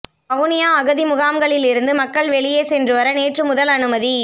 வவுனியா அகதி முகாம்களிலிருந்து மக்கள் வெளியே சென்றுவர நேற்று முதல் அனுமதி